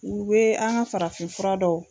U be an ka farafinfura dɔn.